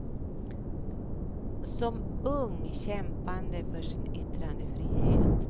Som ung kämpande för sin yttrandefrihet.